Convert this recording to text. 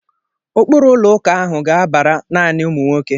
Ụkpụrụ ụlọ ụka ahụ ga-abara naanị ụmụ nwoke.